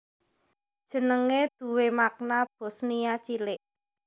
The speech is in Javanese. Jenegé duwé makna Bosnia Cilik